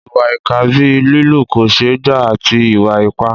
Ìwà ìkà bíi lílù kò ṣeé gbà àti ìwà ipá.